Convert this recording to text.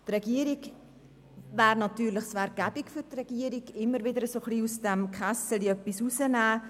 Es wäre für die Regierung natürlich bequem, immer wieder ein bisschen aus dem «Kässeli» heraus zu nehmen.